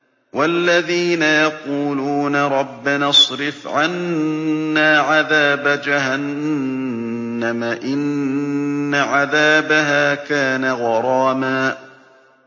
وَالَّذِينَ يَقُولُونَ رَبَّنَا اصْرِفْ عَنَّا عَذَابَ جَهَنَّمَ ۖ إِنَّ عَذَابَهَا كَانَ غَرَامًا